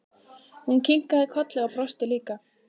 Hún kinkaði kolli og brosti líka.